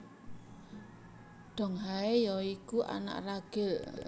Donghae ya iku anak ragil